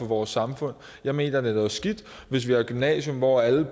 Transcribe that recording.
vores samfund jeg mener at det er noget skidt hvis vi har et gymnasium hvor alle